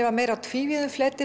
var meira á tvívíðum fleti